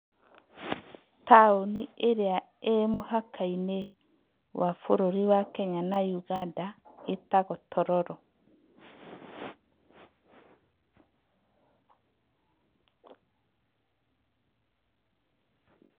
Taũnĩ ĩrĩa ĩrĩ mũhaka-inĩ wa bũrũri Kenya na Uganda ĩtagwo, Tororo.